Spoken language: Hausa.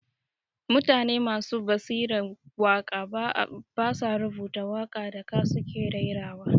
Mutane masu basiran waka ba sa rubuta waka da ka su ke raira wa